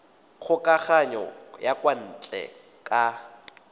kgokagano ya kwa ntle ka